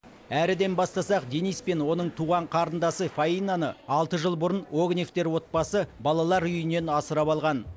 әріден бастасақ дениспен оның туған қарындасы фаинаны алты жыл бұрын огневтер отбасы балалар үйінен асырап алған